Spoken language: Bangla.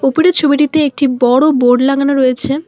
উপরের ছবিটিতে একটি বড় বোর্ড লাগানো রয়েছে।